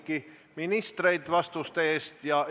Aga ma tänan kõiki küsijaid, ma tänan kõiki ministreid vastuste eest!